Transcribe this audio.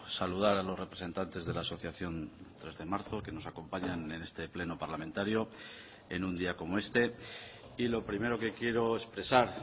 saludar a los representantes de la asociación tres de marzo que nos acompañan en este pleno parlamentario en un día como este y lo primero que quiero expresar